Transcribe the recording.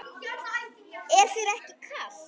Er þér ekki kalt?